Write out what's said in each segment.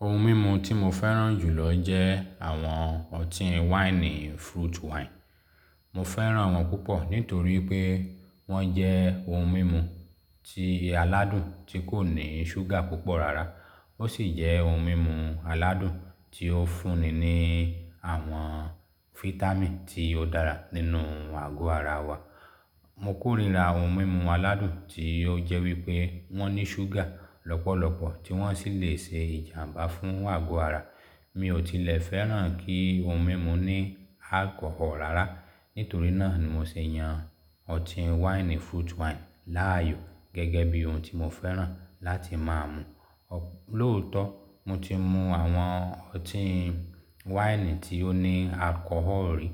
Oun mímu tí mo fẹ́ràn jù lọ jẹ́ àwọn ọtí wáìnì fruit wine. Mo fẹ́ràn wọ́n púpọ̀ nítorí pé wọ́n jẹ́ ohun mímu ti aládùn tí kò ní ṣúgà púpọ̀ rárá. Ó sì jẹ́ oun mímu aládùn tí ó fúnni ní àwọn fítámìn tí ó dára nínú àgọ́ ara wa. Mo kórìíra oun mímu aládùn tí ó jẹ́ wípé wọ́n ní ṣúgà lọ́pọ̀lọ́pọ̀ tí wọ́n sì lè ṣe ìjàmbá fún àgọ́ ara. Mi ò tilẹ̀ fẹ́ràn kí ohun mímu ní alcohol rárá. Nítorí náà ni mo ṣe yan ọtí wáìnì fruit wine láàyò gẹ́gẹ́ bí oun tí mo fẹ́ràn láti máa mu. Lóòótọ́ mo ti mu àwọn ọtí wáìnì tí ó ní alcohol rí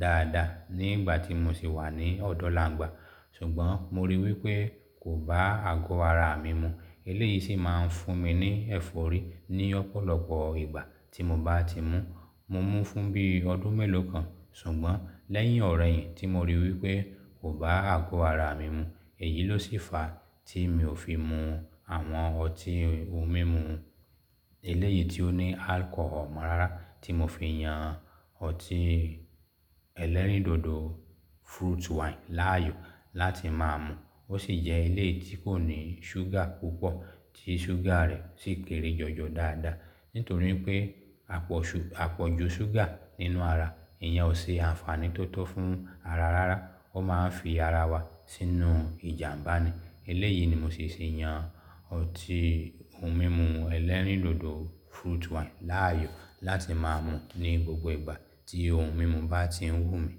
dáadáa ní ìgbà tí mo sì wà ní ọ̀dọ̀làǹgbà. Sùgbọ́n mo rí wípé kò bá àgọ́ ara mi mu. Eléyìí sì máa ń fún mi ní ẹ̀fọ́rí ní ọ̀pọ̀lọpọ̀ ìgbà tí mo bá ti mu. Mo mú fún bí ọdún mélòó kan. Sùgbọ́n lẹ́yìn ọ̀ro eyin tí mo rí wípé kò bá àgọ́ ara mi mu, èyí ló sì fa tí mi ò fi mu àwọn ọtí ohun mímu eléyìí tí ó ní alcohol mọ́ rárá tí mo fi yan ọtí ẹ̀lẹ́rìndòdò fruit wine láàyò láti máa mu. Ó sì jẹ́ eléyìí tí kò ní ṣúgà púpọ̀ tí ṣúgà rẹ̀ sì kéré jọjọ dáadáa. Nítorí pé àpọ̀- apoju ṣúgà nínú ara èèyàn ò ṣe ànfàní tó tọ́ fún ara rárá. Ó máa ń fi ara wa sínú ìjàmbá ni. Eléyìí ni mo sì ṣe yan ọtí oun mímu ẹ̀lẹ́rìndòdò fruit wine láàyò láti máa mu ní gbogbo ìgbà tí oun mímu bá tí ń wù mí.